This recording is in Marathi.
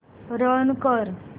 रन कर